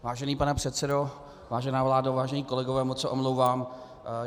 Vážený pane předsedo, vážená vládo, vážení kolegové, moc se omlouvám.